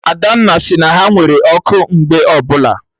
Adanna sị na ha nwere ọkụ mgbe ọbụla